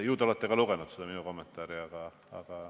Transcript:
Ju te olete lugenud ka minu kommentaari.